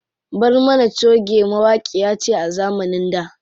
Barmana choge mawaƙiya ce a zamanin da.